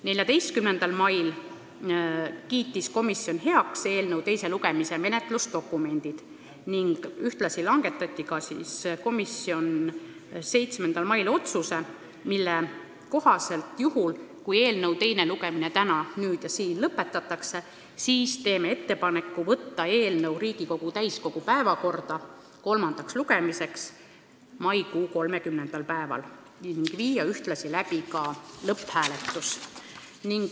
14. mail kiitis komisjon heaks eelnõu teise lugemise menetlusdokumendid ning ühtlasi langetas komisjon 7. mail otsuse, mille kohaselt juhul, kui eelnõu teine lugemine täna, nüüd ja siin lõpetatakse, teeme ettepaneku võtta eelnõu Riigikogu täiskogu päevakorda kolmandale lugemisele maikuu 30. päevaks ning ühtlasi panna see lõpphääletusele.